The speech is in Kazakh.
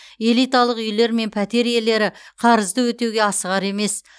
элиталық үйлер мен пәтер иелері қарызды өтеуге асығар емес